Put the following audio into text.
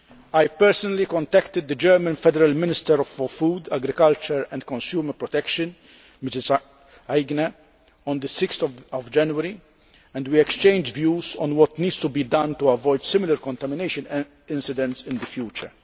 I personally contacted the German Federal Minister for Food, Agriculture and Consumer Protection, Ilse Aigner, on 6 January, and we exchanged views on what needs to be done to avoid similar contamination and incidents in the future.